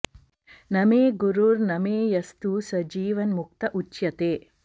न मे गुरुर्न मे यस्तु स जीवन्मुक्त उच्यते